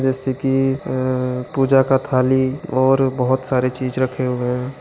जैसे की पूजा का थाली और बहुत सारे चीज रखे हुए हैं ।